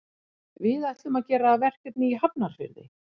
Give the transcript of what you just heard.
Við ætlum að gera verkefni í Hafnarfirði.